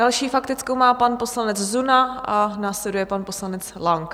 Další faktickou má pan poslanec Zuna a následuje pan poslanec Lang.